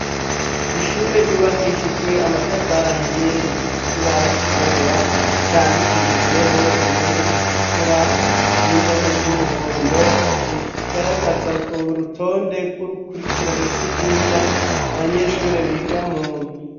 Ishure ryubakishijwe amatafari ahiye rifise ikibaho cirabura candikishijweho indome zitukura n'indome z'umuhondo zigaragaza urutonde rw'urukurikirane rw'ivyigwa abanyeshuri biga mundwi.